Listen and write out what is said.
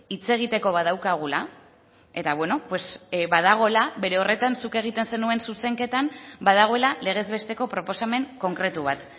hitz egiteko badaukagula eta badagoela bere horretan zuk egiten zenuen zuzenketan badagoela legez besteko proposamen konkretu bat